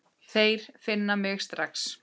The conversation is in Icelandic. Þeir finna mig strax.